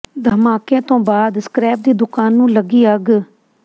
ਧਮਾਕੇ ਤੋਂ ਬਾਅਦ ਸਕਰੈਪ ਦੀ ਦੁਕਾਨ ਨੂੰ ਲੱਗੀ ਅੱਗ